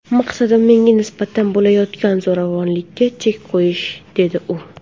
Maqsadim menga nisbatan bo‘layotgan zo‘ravonlikka chek qo‘yish”, deydi u.